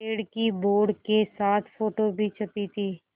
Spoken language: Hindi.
पेड़ की बोर्ड के साथ फ़ोटो भी छपी थी